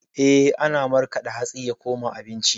Eh, ana markaɗa hatsi ya koma abinci.